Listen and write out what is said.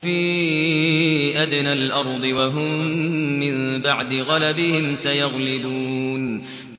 فِي أَدْنَى الْأَرْضِ وَهُم مِّن بَعْدِ غَلَبِهِمْ سَيَغْلِبُونَ